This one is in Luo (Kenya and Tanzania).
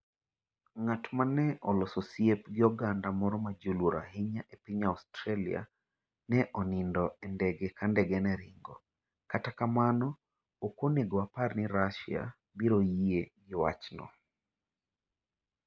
Ng'at ma ne oloso osiep gi oganda moro ma ji oluoro ahinya e piny Australia ne onindo e ndege ka ndege ne ringo, kata kamano, ok onego wapar ni Russia biro yie gi wachno.